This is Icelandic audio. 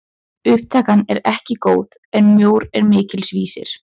Upptakan er ekki góð en mjór er mikils vísir!